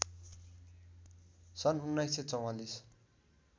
सन् १९४४